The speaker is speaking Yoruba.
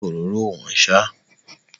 Ṣé òróró ò wọ́n ṣá?